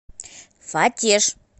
фатеж